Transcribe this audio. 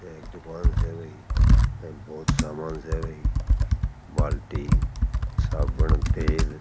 ये एक दुकान से भाई बहुत सामान से भाई बाल्टी साबुन तेल।